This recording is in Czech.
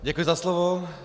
Děkuji za slovo.